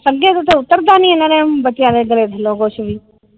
ਸੰਗੇ ਤੋਂ ਤੇ ਉਤਰ ਦਾ ਨੀ ਬੱਚਿਆਂ ਗੱਲੇ ਥਲੋਂ ਕੁੱਜ ਵੀ ।